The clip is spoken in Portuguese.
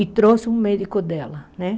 E trouxe um médico dela, né?